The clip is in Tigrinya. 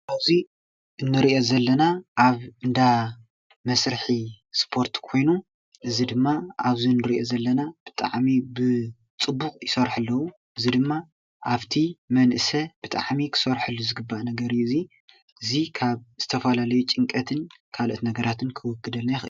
ኣቡዙይ እንሪኦ ዘለና ኣብ እንዳመስርሒ ስፖርት ኮይኑ እዚ ድማ ኣብ እዚ እንሪኦ ዘለና ብጣዕሚ ብፅቡቅ ይሰርሑ ኣለዉ፡፡ እዚ ድማ ኣብ እቲ መንእሰይ ብጣዕሚ ክሰርሐሉ ዝግባእ ነገር እዩ፡፡ እዚ ካብ ዝተፈላለዩ ጭንቀትን ካልኦት ነገራትን ከውግደና ይክእል፡፡